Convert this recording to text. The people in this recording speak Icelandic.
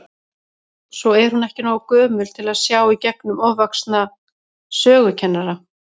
Svo er hún ekki nógu gömul til að sjá í gegnum ofvaxna sögukennara.